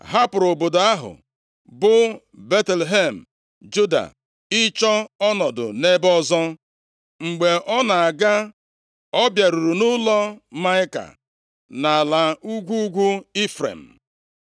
hapụrụ obodo ahụ, bụ Betlehem Juda ịchọ ọnọdụ nʼebe ọzọ. Mgbe ọ na-aga, ọ bịaruru nʼụlọ Maịka nʼala ugwu ugwu Ifrem.